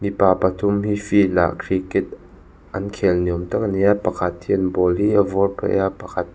mipa pathum hi field ah cricket an khel ni awm tak a ni a pakhat hian ball hi a vawr phei a pakhat --